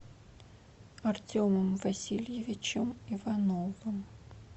артемом васильевичем ивановым